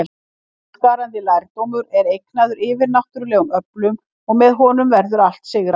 Framúrskarandi lærdómur er eignaður yfirnáttúrlegum öflum, og með honum verður allt sigrað.